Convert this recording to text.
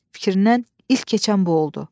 Fikrindən ilk keçən bu oldu.